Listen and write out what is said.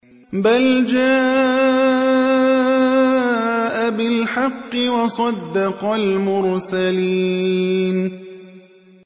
بَلْ جَاءَ بِالْحَقِّ وَصَدَّقَ الْمُرْسَلِينَ